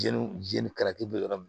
Jeliw jelita be yɔrɔ min